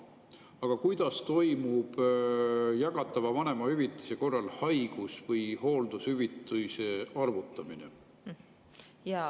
Aga kuidas toimub jagatava vanemahüvitise korral haigus- või hooldushüvitise arvutamine?